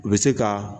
U bɛ se ka